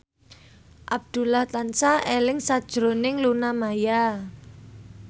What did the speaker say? Abdullah tansah eling sakjroning Luna Maya